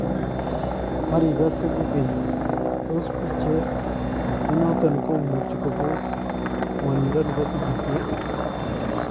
Marikase kokeny tos picheet nenoton komuchi kopoos ngwanindo nebo sikisyeet?